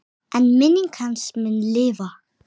En minning hans mun lifa.